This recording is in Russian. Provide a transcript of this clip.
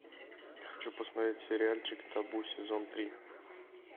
хочу посмотреть сериальчик табу сезон три